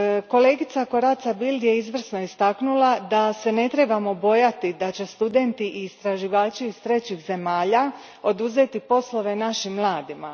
Kolegica Corazza Bildt izvrsno je istaknula da se ne trebamo bojati da će studenti i istraživači iz trećih zemalja oduzeti poslove našim mladima.